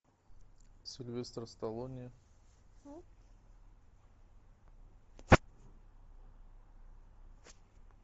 сильвестр сталлоне